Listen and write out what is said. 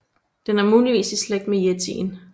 Den er muligvis i slægt med yetien